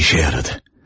İşə yaradı.